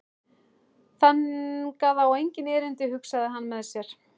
Þangað á enginn erindi, hugsaði hann með sér.